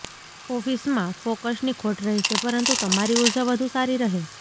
ઓફિસમાં ફોકસની ખોટ રહેશે પરંતુ તમારી ઊર્જા વધુ સારી રહે